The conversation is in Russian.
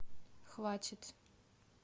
хватит